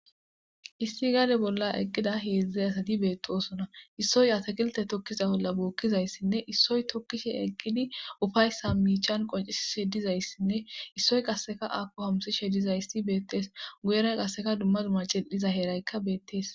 issi gaade bolla eqqida heedzdzey asati beettosona issoy atakilte tokkiza bolla bookkizayssinne issoy tokkishe eqqidi ufayssa miichan qonci shedizayssinne issoy qasseka akko hamsi shedizayssi beettees guyeray qasseka dumma duma cil7iza heeraykka beettees